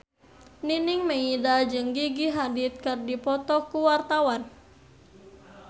Nining Meida jeung Gigi Hadid keur dipoto ku wartawan